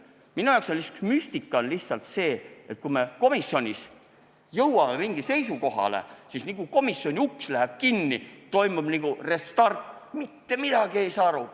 Minu jaoks on aga müstika, et kui me komisjonis jõuame mingile seisukohale, siis niipea kui komisjoni ruumide uks läheb kinni, toimub nagu restart: mitte midagi ei saa aru.